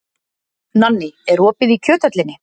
Nanný, er opið í Kjöthöllinni?